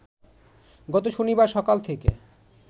গত শনিবার সকাল থেকে